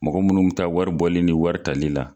Mɔgɔ munnu bɛ taa wari bɔli ni wari talila.